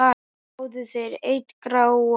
Fáðu þér einn gráan!